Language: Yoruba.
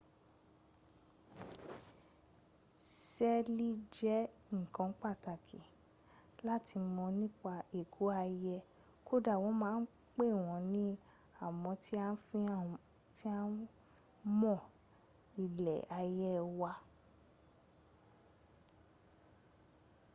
sẹ́ẹ̀lì jẹ́ nǹkan pàtàkì láti mọ̀ nípa ẹ̀kọ́ ayé kódà wọn a máa pè wọn ni amọ̀ tí a fi ń mọ ilẹ ayé wa